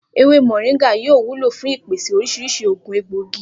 Ewé mò̩ríńgà yóò wúlò fún ìpèsè orís̩irís̩i ògùn egbòogi